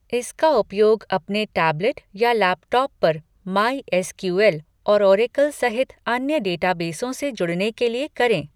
इसका उपयोग अपने टैबलेट या लैपटॉप पर माई एस क्यू एल. और ओरेकल सहित अन्य डेटाबेसों से जुड़ने के लिए करें।